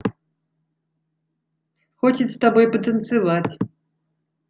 хочет с тобой потанцевать